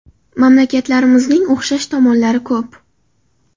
Mamlakatlarimizning o‘xshash tomonlari ko‘p.